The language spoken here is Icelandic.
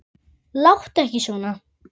Láttu ekki svona